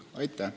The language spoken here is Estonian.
Aitäh!